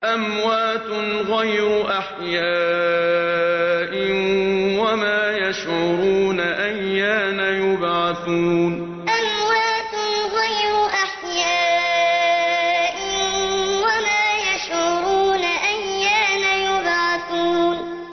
أَمْوَاتٌ غَيْرُ أَحْيَاءٍ ۖ وَمَا يَشْعُرُونَ أَيَّانَ يُبْعَثُونَ أَمْوَاتٌ غَيْرُ أَحْيَاءٍ ۖ وَمَا يَشْعُرُونَ أَيَّانَ يُبْعَثُونَ